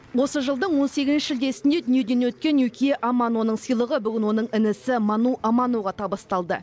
осы жылдың он сегізінші шілдесінде дүниеден өткен юкия аманоның сыйлығы бүгін оның інісі ману аманоға табысталды